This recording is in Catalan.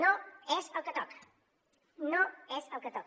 no és el que toca no és el que toca